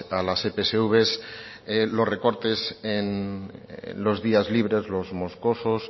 a las epsv los recortes en días libres los moscosos